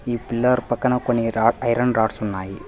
ఈ పిల్లార్ పక్కన కొన్ని రా ఐరన్ రాడ్స్ ఉన్నాయి.